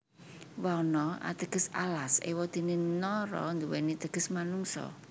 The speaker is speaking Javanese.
Wana ateges alas ewadene Nara nduweni teges manungsa